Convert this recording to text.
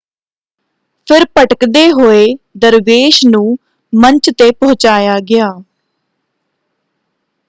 ਫਿਰ ਭਟਕਦੇ ਹੋਏ ਦਰਵੇਸ਼ ਨੂੰ ਮੰਚ ‘ਤੇ ਪਹੁੰਚਾਇਆ ਗਿਆ।